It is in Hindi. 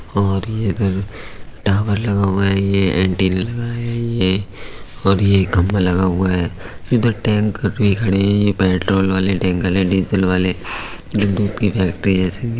और ये इधर टावर लगा हुआ है ये एंटीना लगा है ये और यह खंबा लगा हुआ है इधर टैंकर भी खड़े हैं यें पेट्रोल वाले टैंकर है डीजल वाले जो दूध की फैक्ट्री जैसी दि--